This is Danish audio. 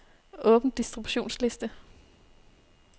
Åbn distributionsliste.